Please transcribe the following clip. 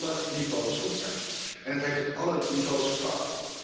Dat moet op alle niveaus goed zijn. En het heeft op alle niveaus gefaald.